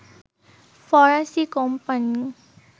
ফরাসি কোম্পানি